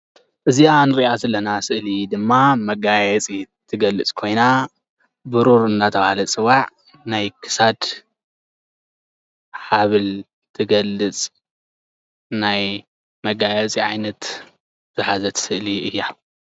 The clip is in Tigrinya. እዚኣ እንሪኣ ዘለና ስእሊ ድማ መጋየፂ ትገልፅ ኮይና ብሩር እናተባሃለ ዝፅዋዕ ናይ ክሳድ ሃብል ትገልፅ ናይ መጋየፂ ዓይነት ዝሓዘት ስእሊ እያ፡፡